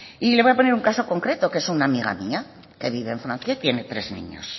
y le voy a poner un caso concreto que es una amiga mía que vive en francia y tiene tres niños